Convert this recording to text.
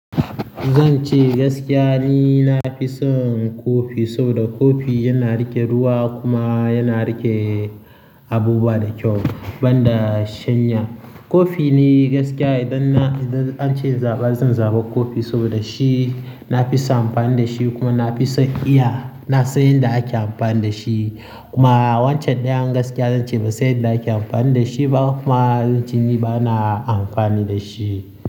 Zan ce gaskiya ni na fi son kofi saboda kofi yana riƙe ruwa kuma yana riƙe abubuwa da kyau banda shanya. Kofi ne gaskiya idan na, idan an ce in zaɓa zan zaɓa kofi saboda shi na fi son amfani da shi kuma na fi son iya na san yadda ake amfani da shi. Kuma wancan ɗayan gaskiya zan ce ba zan san yadda ake amfani da shi ba kuma zan ci ni ba na amfani da shi.